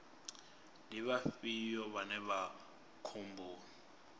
ndi vhafhio vhane vha vha khomboni